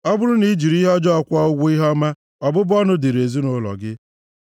Ọ bụrụ na i jiri ihe ọjọọ kwụọ ụgwọ ihe ọma, ọbụbụ ọnụ dịrị ezinaụlọ gị.